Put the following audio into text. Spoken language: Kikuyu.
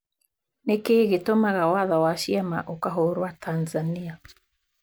Nĩ kĩĩ gĩtũmaga watho wa ciama ukahũrwa Tanzania?